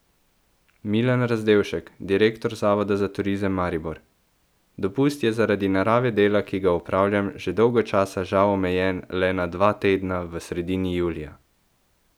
Milan Razdevšek, direktor Zavoda za turizem Maribor: 'Dopust je zaradi narave dela, ki ga opravljam, že dolgo časa žal omejen le na dva tedna v sredini julija.